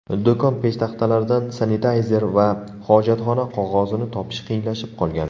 Do‘kon peshtaxtalaridan sanitayzer va hojatxona qog‘ozini topish qiyinlashib qolgan.